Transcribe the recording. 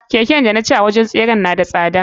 Keken danaci a wurin tseren na da tsada.